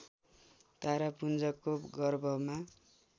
तारापुञ्जको गर्भमा